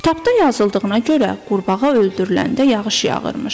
Kitabda yazıldığına görə, qurbağa öldürüləndə yağış yağırmış.